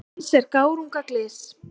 Dans er gárunga glys.